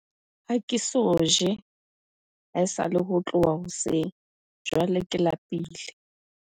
ha ke so je ha esale ho tloha hoseng jwale ke lapile